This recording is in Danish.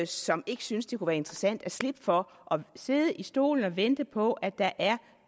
som ikke synes det kunne være interessant at slippe for at sidde i stolen og vente på at der er